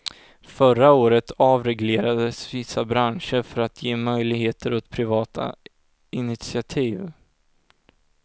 Förra året avreglerades vissa branscher för att ge möjligheter åt privata initiativ.